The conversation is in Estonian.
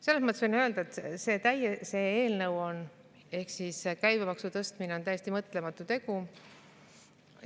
Selles mõttes võin öelda, et see eelnõu ehk siis käibemaksu tõstmine on täiesti mõtlematu tegu.